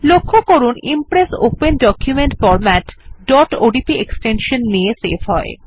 লক্ষ্য করুন Impress open document format odp extension নিয়ে সেভ হয়